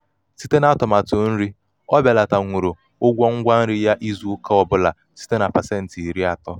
site n'atumatụ nri o belatanwuru ụgwọ ngwa nri ya izu ụka ọbụla ya site na pasenti iri atọ.